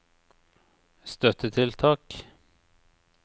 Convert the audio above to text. støttetiltak